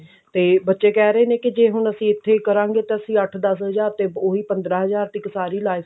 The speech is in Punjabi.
ਤੇ ਬੱਚੇ ਕਿਹ ਰਹੇ ਨੇ ਜੇ ਹੁਣ ਅਸੀਂ ਇੱਥੇ ਕਰਾਂਗੇ ਤਾਂ ਅਸੀਂ ਅੱਠ ਦਸ ਹਜ਼ਾਰ ਤੇ ਓਹੀ ਪੰਦਰਾਂ ਹਜ਼ਾਰ ਤੇ ਇੱਕ ਸਾਰੀ life